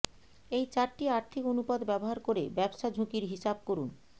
এই চারটি আর্থিক অনুপাত ব্যবহার করে ব্যবসা ঝুঁকির হিসাব করুন